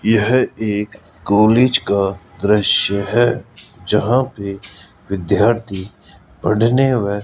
यह एक कॉलेज का दृश्य है जहां पे विद्यार्थी पढ़ने व --